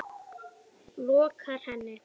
lokar henni.